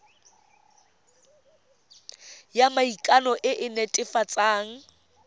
ya maikano e e netefatsang